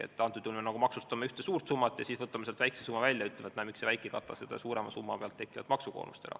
Me nagu maksustame ühte suurt summat, siis võtame sealt väikese summa välja ja küsime, et miks see väike ei kata seda suurema summa pealt tekkinud maksukoormust.